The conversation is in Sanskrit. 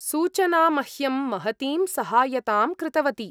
सूचना मह्यं महतीं सहायतां कृतवती।